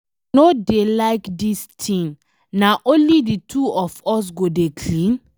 I no dey like dis thing, na only the two of us go dey clean?